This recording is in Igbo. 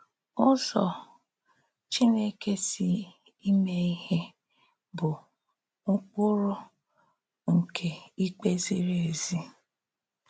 Ụ́zọ̀ Chínèkè sì ímè íhè bụ̀ ụ́kpụrụ̀ nke ìkpè zìrì èzí.